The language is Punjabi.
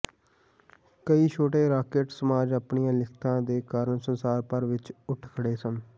ਕਈ ਛੋਟੇ ਰਾਕੇਟ ਸਮਾਜ ਆਪਣੀਆਂ ਲਿਖਤਾਂ ਦੇ ਕਾਰਨ ਸੰਸਾਰ ਭਰ ਵਿਚ ਉੱਠ ਖੜ੍ਹੇ ਸਨ